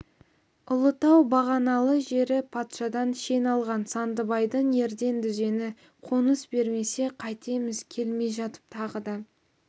ұлытау бағаналы жері патшадан шен алған сандыбайдың ерден дүзені қоныс бермесе қайтеміз келмей жатып тағы да